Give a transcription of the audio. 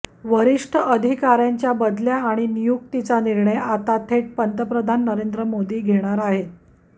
वरिष्ठ अधिकार्यांच्या बदल्या आणि नियुक्तीचा निर्णय आता थेट पंतप्रधान नरेंद्र मोदी घेणार आहेत